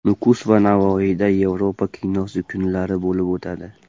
Nukus va Navoiyda Yevropa kinosi kunlari bo‘lib o‘tadi.